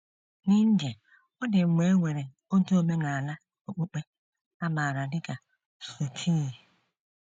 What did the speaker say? N’India, ọ dị mgbe e nwere otu omenala okpukpe a maara dị ka suttee.